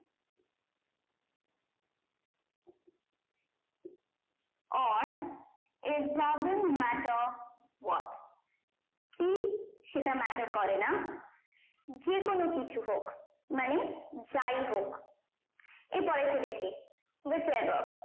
on it doesn't matter what কি সেটা matter করে না যে কোনো কিছু হোক মানে যাই হোক আর পরের তা দেখি which above